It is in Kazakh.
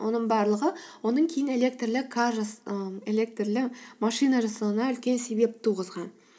оның барлығы оның кейін ііі элертрлі машина жасауына үлкен себеп туғызған